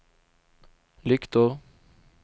lyktor